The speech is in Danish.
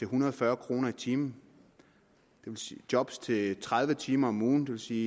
hundrede og fyrre kroner i timen job til tredive timer om ugen det vil sige